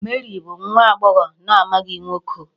Mary bụ nwa agbọghọ na-amaghị nwoke.